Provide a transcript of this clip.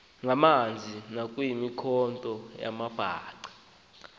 ngamanzi nayimikhonto yamabhaca